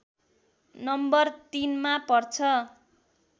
number ३ मा पर्छ